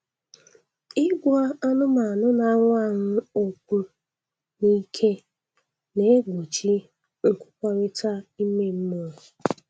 Ịgwa anụmanụ na-anwụ anwụ okwu n'ike na-egbochi nkwukọrịta ime mmụọ.